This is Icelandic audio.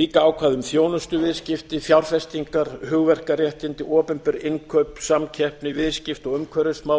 líka ákvæði um þjónustuviðskipti fjárfestingar hugverkaréttindi opinber innkaup samkeppni viðskipti og umhverfismál